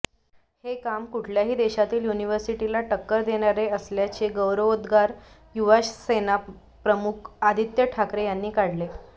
हे काम कुठल्याही देशातील युनिव्हर्सिटीला टक्कर देणारे असल्याचे गौरवोद्गार युवासेना प्रमुख आदित्य ठाकरे यांनी काढले